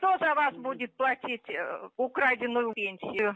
кто за вас будет платить украденную пенсию